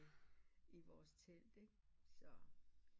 I vores telt ikke så